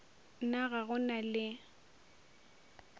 na ga go na le